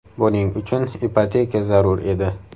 Buning uchun ipoteka zarur edi.